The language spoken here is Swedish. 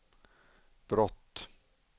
brott